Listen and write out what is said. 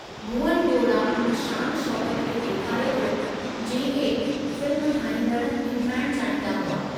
भुवन गोड़ा हुन शान शौक़त खे ॾेखारे थो जंहिं खे फ़िल्म ठाहींदड़ हिमथाइणु चाहींदा हुआ।